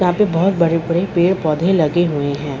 यहां पे बहुत बड़े-बड़े पेड़-पौधे लगे हुए हैं।